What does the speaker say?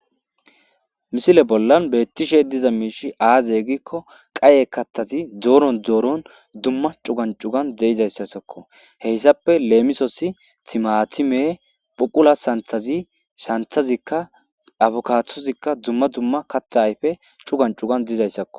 Missile bolla betishe diza mishi aze giko qaye kathati Zoro Zoro dumma dumma c'ugan c'uga de'izaysazako hesappe lemosos timatime phuqula santhezi santhazika akkubadozika dumma dumma qatha ayfe c'ugan c'ugan dizasako